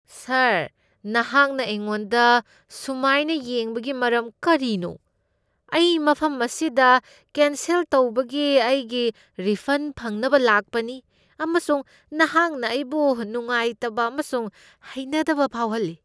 ꯁꯥꯔ, ꯅꯍꯥꯛꯅ ꯑꯩꯉꯣꯟꯗ ꯑꯁꯨꯝꯥꯏꯅ ꯌꯦꯡꯕꯒꯤ ꯃꯔꯝ ꯀꯔꯤꯅꯣ? ꯑꯩ ꯃꯐꯝ ꯑꯁꯤꯗ ꯀꯦꯟꯁꯦꯜ ꯇꯧꯕꯒꯤ ꯑꯩꯒꯤ ꯔꯤꯐꯟ ꯐꯪꯅꯕ ꯂꯥꯛꯄꯅꯤ ꯑꯃꯁꯨꯡ ꯅꯍꯥꯛꯅ ꯑꯩꯕꯨ ꯅꯨꯡꯉꯥꯏꯇꯕ ꯑꯃꯁꯨꯡ ꯍꯩꯅꯗꯕ ꯐꯥꯎꯍꯜꯂꯤ ꯫